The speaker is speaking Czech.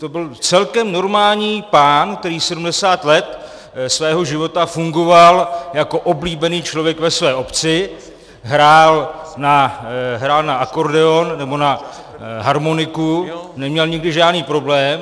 To byl celkem normální pán, který 70 let svého života fungoval jako oblíbený člověk ve své obci, hrál na akordeon nebo na harmoniku, neměl nikdy žádný problém.